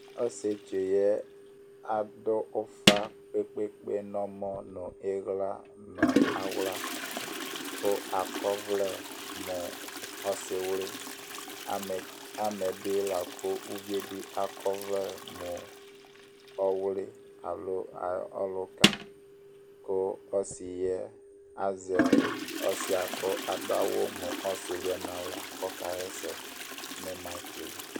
Osietsu yɛ adu ufa kpekpe kpe nɔmɔ nu iɣla nu aɣla akɔ ɔvlɛ mu Ɔsiwli amɛ bi la ku uvie bi akɔ ɔvlɛ mu ɔwli alo ɔluka ku ɔsiɛ azɛ ɔsi yɛ ku adu awu mu Ɔsiwli yɛ ku ɔka waɛsɛ nu makɛl